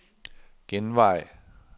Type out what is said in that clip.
genvej